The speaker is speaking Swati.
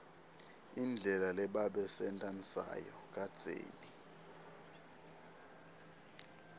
indlela lebabesenta nsayo kadzeni